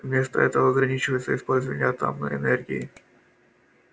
вместо этого ограничивается использование атомной энергии